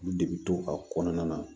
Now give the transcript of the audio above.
Olu de bi to a kɔnɔna na